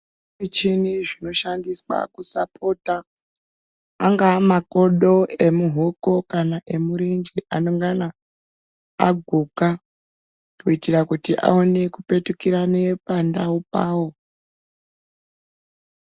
Zvimichini zvinoshandiswa kusapota angaa makodo emuhoko kana emurenje anongana aguka kuitira kuti aone kupetukirane pandau pawo.